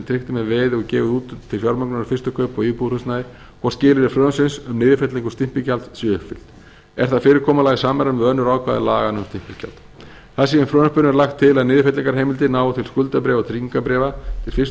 tryggt er með veði og gefið út til fjármögnunar fyrstu kaupa á íbúðarhúsnæði hvort skilyrði frumvarpsins um niðurfellingu stimpilgjalds séu uppfyllt er það fyrirkomulag í samræmi við önnur ákvæði laganna um stimpilgjald þar sem í frumvarpinu er lagt til að niðurfellingarheimildin nái til skuldabréfa og tryggingarbréf til fyrstu